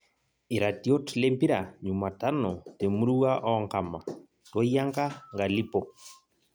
Iratiot lempira jumatano te murua oonkama; Toyianka, nkalipo